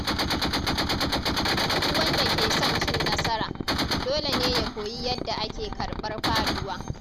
Duk wanda ke son cin nasara, dole ne ya koyi yadda ake karɓar faduwa.